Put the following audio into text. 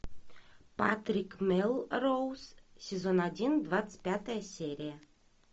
патрик мелроуз сезон один двадцать пятая серия